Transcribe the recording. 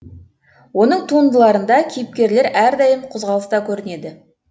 оның туындыларында кейіпкерлер әрдайым қозғалыста көрінеді